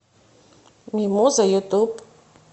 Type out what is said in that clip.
мимоза ютуб